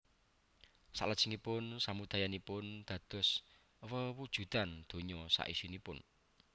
Salajengipun samudayanipun dados wewujudan donya saisinipun